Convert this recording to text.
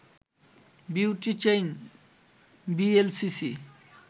beauty chain VLCC